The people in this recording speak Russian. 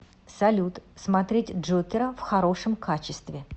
салют смотреть джокера в хорошем качестве